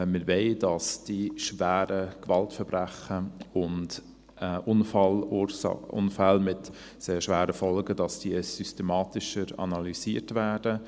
Wir wollen, dass diese schweren Gewaltverbrechen und Unfälle mit sehr schweren Folgen systematischer analysiert werden.